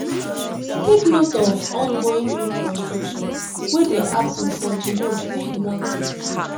take note of ongoing road construction wey dey happen for di road wey you wan take